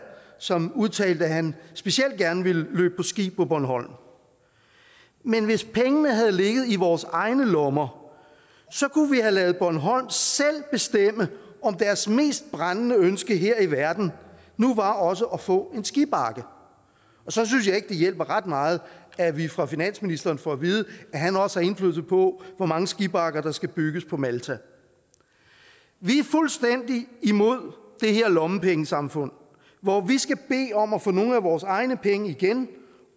som udtalte at han specielt gerne ville løbe på ski på bornholm men hvis pengene havde ligget i vores egne lommer kunne vi have ladet bornholm selv bestemme om deres mest brændende ønske her i verden nu også var at få en skibakke og så synes jeg ikke at det hjælper ret meget at vi fra finansministeren får at vide at han også har indflydelse på hvor mange skibakker der skal bygges på malta vi er fuldstændig imod det her lommepengesamfund hvor vi skal bede om at få nogle af vores egne penge igen